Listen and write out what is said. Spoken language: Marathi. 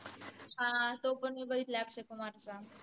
हा तो पन मी बघितला अक्षय कुमार चा